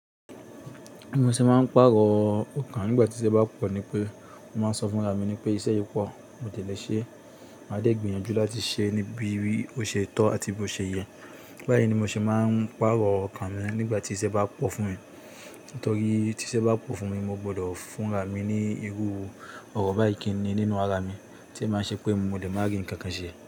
Mo ṣe máa ń pàrọ̀ ọkàn nígbà tí iṣẹ́ bá pọ̀ ni pé mo máa ń sọ fún ara mi pé iṣẹ́ yìí pọ̀, mo ò dẹ́lẹ́ ṣe, màá dé gbìyànjú láti ṣe ní bí i ó ṣe tọ́ àti bí ó ṣe yẹ. Báyìí ni mo ṣe máa ń pàrọ̀ ọkàn mi nígbà tí iṣẹ́ bá pọ̀ fún mi. Nítorí tí iṣẹ́ bá pọ̀ fún mi, mo gbọ́dọ̀ fún ara mi ní irú ọrọ̀ báyìí kí ni nínú ara mi tí ń ṣe pé mo lè máa rí ǹkan kan ṣe.